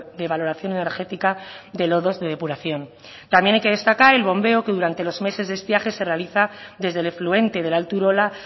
de valoración energética de lodos de depuración también hay que destacar el bombeo que durante los meses de estiaje se realiza desde el efluente del alto urola